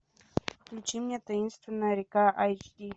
включи мне таинственная река эйч ди